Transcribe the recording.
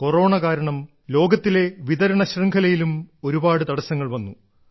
corona കാരണം ലോകത്തിലെ വിതരണ ശൃംഖലയിലും ഒരുപാട് തടസ്സങ്ങൾ വന്നു